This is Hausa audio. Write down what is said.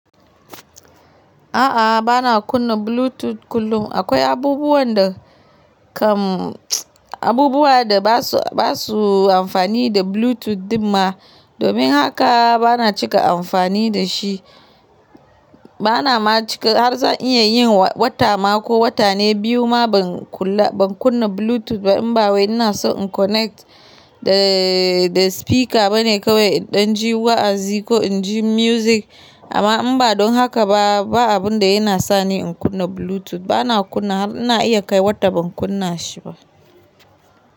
A'a, bana kunna Bluetooth kullum. Akwai abubuwan da kam, abubuwa da ba su, ba su amfani da Bluetooth dinma. Domin haka bana cika amfani da shi. Bana ma cika har zan iya yin wata ma ko wata ne biyu ma ban kula, ban kunna Bluetooth ba. In ba wai ina so in connect da, da speaker bane kawai in ɗan ji wa'azi ko in ji music. Amma in ba don haka ba, ba abun da yana sa ni in kunna Bluetooth. Bana kunna har ina iya kai wata ban kunna shi ba.